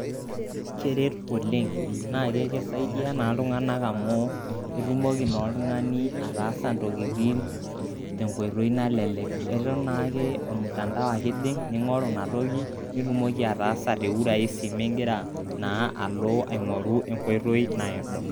Keret oleng' naa kisaidia naa iltung'anak amu itumoki naa oltung'ani ataasa intokitin te enkoito nalelek eton naake aa ormutandao ake ijing' ning'oruina toki nitumoki ataasa te uraisi migira naa alo aing'oru enkoitoi naado.